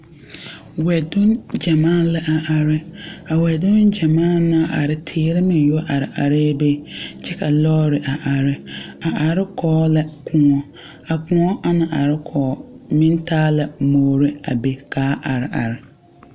wɛdune gyamaa la a are. A wɛdune gyamaa na naŋ are, teere meŋ are areɛ be. Kyɛ ka lɔre a are. A are kɔɔ la koɔ. A koɔ a na are kɔɔ meŋ taa la muore a be ka a are are.